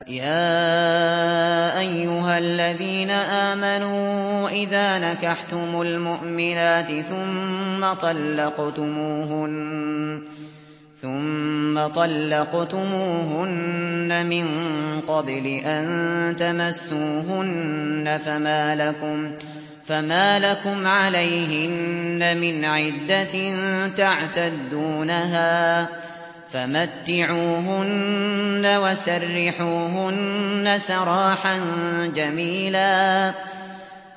يَا أَيُّهَا الَّذِينَ آمَنُوا إِذَا نَكَحْتُمُ الْمُؤْمِنَاتِ ثُمَّ طَلَّقْتُمُوهُنَّ مِن قَبْلِ أَن تَمَسُّوهُنَّ فَمَا لَكُمْ عَلَيْهِنَّ مِنْ عِدَّةٍ تَعْتَدُّونَهَا ۖ فَمَتِّعُوهُنَّ وَسَرِّحُوهُنَّ سَرَاحًا جَمِيلًا